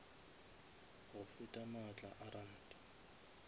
go feta maatla a ranta